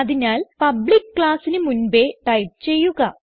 അതിനാൽ പബ്ലിക്ക് classന് മുൻപേ ടൈപ്പ് ചെയ്യുക